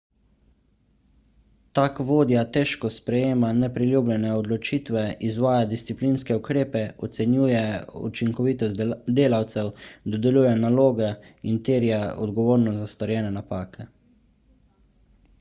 tak vodja težko sprejema nepriljubljene odločitve izvaja disciplinske ukrepe ocenjuje učinkovitost delavcev dodeljuje naloge in terja odgovornost za storjene napake